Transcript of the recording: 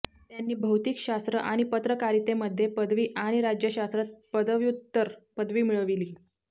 त्यांनी भौतिकशास्त्र आणि पत्रकारितेमध्ये पदवी आणि राज्यशास्त्रात पदव्युत्तर पदवी मिळवली